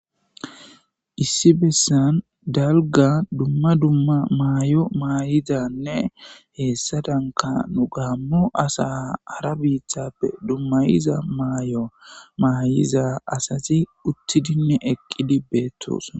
issi bessan dalga dumma dumma maay7o maayizanne heessadanka nu gaammu asa hara biithappe dummayiza maay7o maayiza asazi uttidinne eqqidi beettos